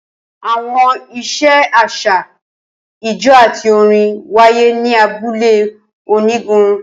Awọn iṣẹ aṣa, ijó ati orin waye ni abule onigun.